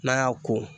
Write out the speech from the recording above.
N'an y'a ko